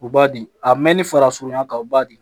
U b'a di a mɛn ni fara surunya kan u b'a di